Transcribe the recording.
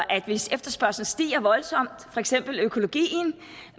at hvis efterspørgslen stiger voldsomt for eksempel økologien